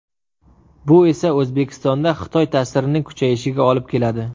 Bu esa O‘zbekistonda Xitoy ta’sirining kuchayishiga olib keladi.